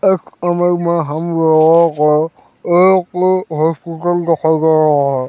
इस इमेज में हम लोगों को एक हॉस्पिटल दिखाई दे रहा हैं ।